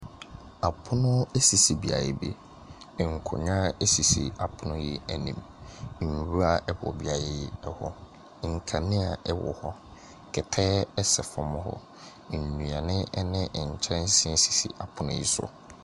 Apono sisi beaeɛ bi. Nkonnwa sisi apono yi anim. Nwura wɔ beaeɛ yi hɔ. Nkanea wɔ hɔ. Kɛtɛ sɛ fam hɔ. Nnuane ne nkyɛnse sisi apono yi so.